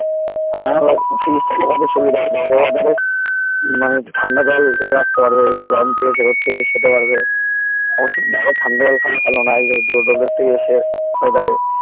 আর আমার fridge থাকলে কত সুবিধা হত মানে একটু ঠান্ডা জল করে রাখতে পারবে সে গরম থেকে এসে রোদ থেকে এসে খেতে পারবে অসুবিধা নেই ওই ঠান্ডা জল খাওয়া ভালো না এই রোদের থেকে এসে weather এ